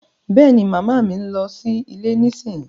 Bẹ́ẹ̀ni, Mama mi ń lọ sí ilé nísìnyí